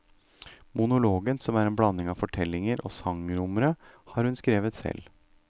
Monologen, som er en blanding av fortellinger og sangnumre, har hun skrevet selv.